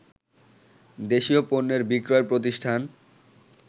দেশীয় পণ্যের বিক্রয় প্রতিষ্ঠান